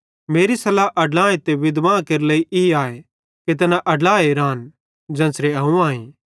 मेरी सल्लाह अड्लां ते विधवां केरे ई आए कि तैना अड्लाए रान ज़ेन्च़रे अवं आईं